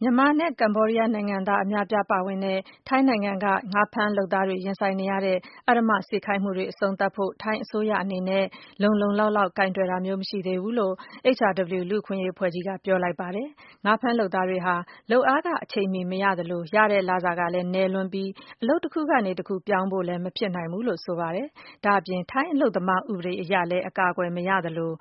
မြန်မာနဲ့ ကမ္ဘောဒီးယားနိုင်ငံသား အများအပြားပါဝင်တဲ့ ထိုင်းနိုင်ငံက ငါးဖမ်းလုပ်သားတွေ ရင်ဆိုင်နေရတဲ့ အဓမ္မခိုင်းစေမှုတွေ အဆုံးသတ်ဖို့ ထိုင်းအစိုးရအနေနဲ့ လုံလုံလောက်လောက် ကိုင်တွယ်တာမျိုး မရှိသေးဘူးလို့ HRW လူ့အခွင့်အရေးအဖွဲ့ကြီးက ပြောလိုက်ပါတယ်။ ငါးဖမ်းလုပ်သားတွေဟာ လုပ်အားခ အချိန်မီ မရသလို ရတဲ့လစာဟာလည်း နည်းလွန်းပြီး အလုပ်တခုကနေ တခုကိုပြောင်းဖို့ဟာလည်း မဖြစ်နိုင်ဘူးလို့ ဆိုပါတယ်။ ဒါ့အပြင် ထိုင်း အလုပ်သမား ဥပဒေအရလည်း အကာအကွယ် မရရှိသလို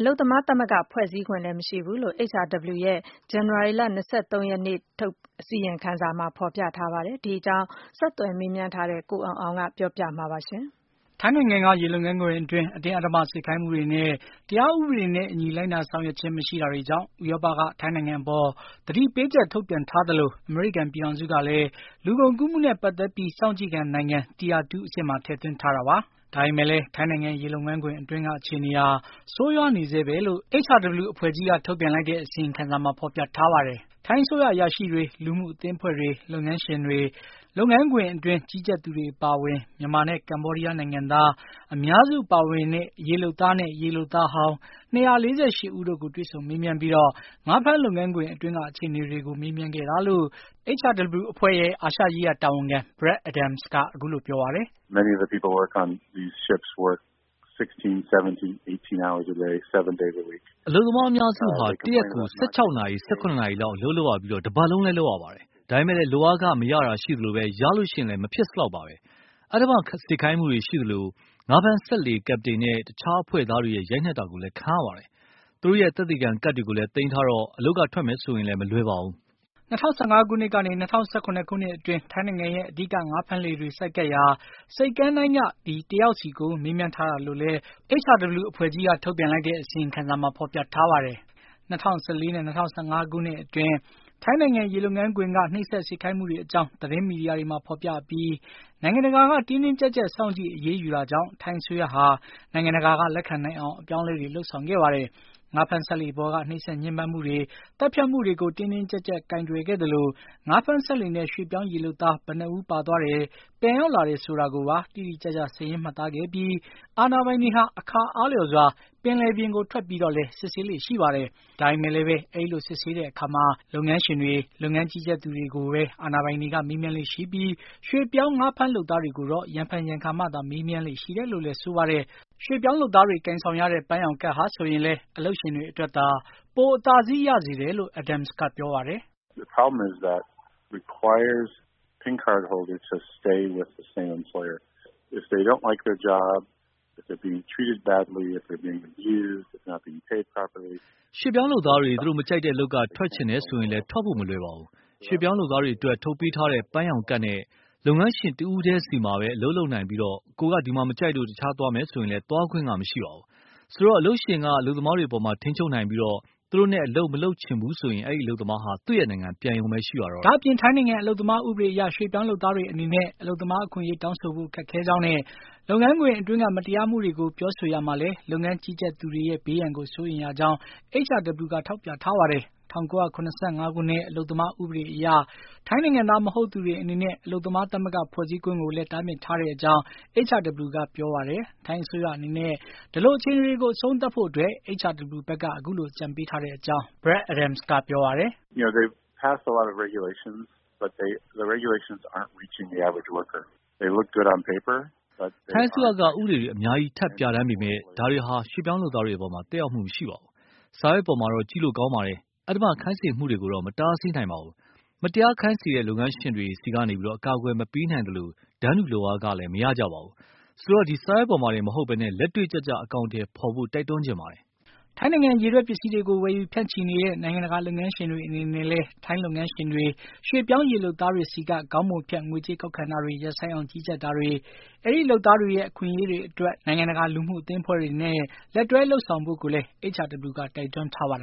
အလုပ်သမားသမဂ္ဂ ဖွဲ့စည်းခွင့်လည်း မရှိဘူးလို့ HRW ရဲ့ ဇန်နဝါရီ ၂၃ ရက်နေ့က ထုတ်ပြန်တဲ့ အစီရင်ခံစာမှာ ဖေါ်ပြထားပါတယ်။ ဒီအကြောင်း ဆက်သွယ်မြေးမြန်းထားတဲ့ ကိုအောင်အောင်က တင်ပြထားပါတယ်။ ထိုင်းနိုင်ငံက ရေလုပ်ငန်းခွင်အတွင်း အတင်းအဓမ္မ စေခိုင်းမှုတွေနဲ့ တရားဥပဒေနဲ့အညီ လိုက်နာဆောင်ရွက်ခြင်း မရှိတာတွေကြောင့် ဥရောပက ထိုင်းနိုင်ငံအပေါ် သတိပေးချက် ထုတ်ပြန်ထားသလို အမေရိကန်ပြည်ထောင်စုကလည်းလူကုန်ကူးမှုနဲ့ ပတ်သက်ပြီး စောင့်ကြည့်ခံနိုင်ငံ Tier 2 အဆင့်မှာ ထည့်သွင်းထားတာပါ။ ဒါပေမယ့်လည်း ထိုင်းနိုင်ငံ၊ ရေလုပ်ငန်းခွင်အတွင်းက အခြေအနေဟာ ဆိုးရွားနေဆဲပဲလို့ HRW လူ့အခွင့်အရေးအဖွဲ့ကြီးရဲ့ အစီရင်ခံစာမှာ ဖေါ်ပြထားပါတယ်။ ထိုင်းအစိုးရအရာရှိတွေ၊ လူမှုအသင်းအဖွဲ့တွေ၊ လုပ်ငန်းရှင်တွေ၊ လုပ်ငန်းခွင်အတွင်း ကြီးကြပ်သူတွေအပါအဝင် မြန်မာနဲ့ ကမ္ဘောာဒီယားနိုင်ငံသား အများစုပါဝင်တဲ့ ရေလုပ်သားနဲ့ ရေလုပ်သားဟောင်း၂၄၈ ဦးတို့ကို တွေ့ဆုံမေးမြန်းပြီး ငါးဖမ်းလုပ်ငန်းခွင်အတွင်းက အခြေအနေတွေကို မေးမြန်ခဲ့တာလို့ HRW အဖွဲ့ရဲ့ အာရှရေးရာ တာဝန်ခံ Brad Adams က အခုလိုပြောပါတယ်။ “ အလုပ်သမားအများစုဟာ တရက်ကို ၁၆ နာရီ ၁၇ နာရီလောက် အလုပ်လုပ်ရပြီး တပတ်လုံး လုပ်ရပါတယ်။ ဒါပေမယ့်လည်း လုပ်အားခမရတာရှိသလို ရလျင်လည်း မဖြစ်စလောက်ပါ။ အဓမ္မ စေခိုင်းမှုတွေ ရှိသလို ငါးဖမ်းစက်လှေ ကပ်ပတိန်နဲ့ တခြားအဖွဲ့သားတွေရဲ့ ရိုက်နှက်တာကိုလည်း ခံရပါတယ်။ သူတို့ရဲ့ သက်သေခံကဒ်တွေကိုလည်း သိမ်းထားတော့ အလုပ်ကထွက်မယ်ဆိုရင်လည်း မလွယ်ပါဘူး။” ၂၀၁၅ ခုနှစ်ကနေ ၂၀၁၇ ခုနှစ်အတွင်း ထိုင်းနိုင်ငံရဲ့ အဓိကငါးဖမ်းလှေတွေ ဆိုက်ကပ်ရာ ဆိပ်ကမ်းတိုင်းက တယောက်စီကို မေးမြန်းထားတာလို့လည်း Phasuk က ပြောပါတယ်။ ၂၀၁၄ နဲ့ ၂၀၁၅ ခုနှစ်အတွင်း ထိုင်းနိုင်ငံ ရေလုပ်ငန်းခွင်က နှိပ်စက် စေခိုင်းမှုတွေအကြောင်း သတင်းမီဒီယာတွေမှာဖေါ်ပြအပြီး နိုင်ငံတကာက တင်းတင်းကြပ်ကြပ် စောင့်ကြည့် အရေးယူတာကြောင့် ထိုင်းအစိုးရဟာ နိုင်ငံတကာက လက်ခံနိုင်အောင် အပြောင်းအလဲတွေ လုပ်ဆောင်ခဲ့ပါတယ်။ ငါးဖမ်းစက်လှေပေါ်က နှိပ်စက်ညှဉ်းပမ်းမှုတွေ၊ သတ်ဖြတ်မှုတွေကို တင်းတင်းကြပ်ကြပ် ကိုင်တွယ်ခဲ့သလို ငါးဖမ်းစက်လှေနဲ့ ရွှေ့ပြောင်း ရေလုပ်သား ဘယ်နှစ်ဦး ပါသွားတယ် ပြန်ရောက်လာတယ် ဆိုတာတွေကိုပါ တိတိကျကျ စားရင်းမှတ်သားခဲ့ပြီး အာဏာပိုင်တွေဟာ အခါအားလျော်စွာ ပင်လယ်ပြင်ကို ထွက်ပြီး စစ်ဆေးလေ့လည်း ရှိပါတယ်။ ဒါပေမယ့်လည်းပဲ အဲဒီလိုစစ်ဆေးတဲ့အခါမှာ အာဏာပိုင်တွေဟာ လုပ်ငန်းရှင်တွေ လုပ်ငန်းကြီးကြပ်သူတွေကိုပဲ မေးမြန်းလေ့ရှိပြီး ရွှေ့ပြောင်း ငါးဖမ်းလုပ်သားတွေကိုတော့ ရံဖန်ရံခါမှသာ မေးမြန်းလေ့ရှိတယ်လို့ဆိုပါတယ်။ ရွှေ့ပြောင်းလုပ်သားတွေ ကိုင်ဆောင်ရတဲ့ ပန်းရောင်ကဒ်ဟာဆိုရင်လည်း အလုပ်ရှင်တွေအတွက်သာ ပိုအသာစီးရစေတယ်လို့ Adams က ပြောပါတယ်။ “ ရွှေ့ပြောင်းလုပ်သားတွေ သူတို့မကြိုက်တဲ့အလုပ်က ထွက်ချင်တယ်ဆိုရင်လည်း ထွက်ဖို့မလွယ်ပါဘူး။ ရွှေပြောင်းလုပ်သားတွေအတွက် ထုတ်ပေးထားတဲ့ ပန်းရောင်ကဒ်နဲ့ လုပ်ငန်းရှင်တဦးထဲစီမှာပဲ အလုပ်လုပ်နိုင်ပြီး ကိုယ်က ဒီမှာ မကြိုက်လို့ တခြားသွားမယ်ဆိုရင်လည်း သွားခွင့်မရှိပါဘူး။ ဆိုတော့ အလုပ်ရှင်က အလုပ်သမားတွေအပေါ်ကို ထိန်းချုပ်နိုင်ပြီး သူတို့နဲ့ အလုပ်မလုပ်ချင်ဘူးဆိုရင် အဲဒီအလုပ်သမားဟာ သူ့နိုင်ငံ ပြန်ရုံပဲရှိပါတယ်။ ” ဒါ့အပြင် ထိုင်းနိုင်ငံအလုပ်သမားဥပဒေအရ ရွှေ့ပြောင်းလုပ်သားတွေအနေနဲ့ အလုပ်သမား အခွင့်အရေးတောင်းဆိုဖို့ ခက်ခဲကြောင်းနဲ့ လုပ်ငန်းခွင်အတွင်းက မတရားမှုတွေကို ပြောဆိုရာမှာလည်း လုပ်ငန်းကြီးကြပ်သူတွေရဲ့ ဘေးရန်ကို စိုးရိမ်ရကြောင်း HRW က ထောက်ပြထားပါတယ်။ ၁၉၇၅ ခုနှစ် အလုပ်သမား ဥပဒေအရ ထိုင်းနိုင်ငံသားမဟုတ်သူတွေအနေနဲ့ အလုပ်သမား သမဂ္ဂဖွဲ့စည်းခွင့်ကိုလည်း တားမြစ်ထားတဲ့အကြောင်း HRW က ပြောကြားပါတယ်။ ထိုင်းအစိုးရအနေနဲ့ ဒီလိုအခြေအနေကို အဆုံးသတ်ဖို့အတွက် HRW ဘက်က အခုလို အကြံပေးထားတဲ့အကြောင်း Brad Adams က ပြောပါတယ်။ “ ထိုင်းအစိုးရက ဥပဒေတွေ အများကြီး ထပ်ပြဌားန်ပေမယ့် ဒါတွေဟာ ရွှေ့ပြောင်းလုပ်သားတွေအပေါ် သက်ရောက်မှုမရှိပါဘူး။စာရွက်ပေါ်မှာတော့ ကြည့်လို့ကောင်းပေမယ့် အဓမ္မခိုင်းစေမှုတွေကိုတော့ မတားဆီးနိုင်ပါဘူး။ မတရားခိုင်းစေတဲ့ လုပ်ငန်းရှင်တွေစီကနေ အကာကွယ်မပေးနိုင်သလို တန်းတူလုပ်အားခလည်း မရပါဘူး။ ဆိုတော့ စာရွက်ပေါ်မှာတင်မဟုတ်ဘဲ လက်တွေ့ကျကျ အကောင်အထည်ဖေါ်ဖို့ တိုက်တွန်းချင်ပါတယ်။” ထိုင်းနိုင်ငံ ရေထွက်ပစ္စည်းတွေကို ဝယ်ယူဖြန့်ချီနေတဲ့ နိုင်ငံတကာ လုပ်ငန်းရှင်တွေ အနေနဲ့လည်း ထိုင်းလုပ်ငန်းရှင်တွေ ရွှေ့ပြောင်းရေလုပ်သားတွေစီက ခေါင်းပုံဖြတ်ငွေကြေးကောက်ခံတာတွေ ရပ်ဆိုင်းအောင် ကြီးကြပ်တာတွေ၊ အဲဒီလုပ်သားတွေရဲ့ အခွင့်အရေးအတွက် နိုင်ငံတကာ လူမှုအသင်းအဖွဲ့တွေနဲ့ လက်တွဲလုပ်ဆောင်ဖို့ကိုလည်း HRW က တိုက်တွန်းထားပါတယ်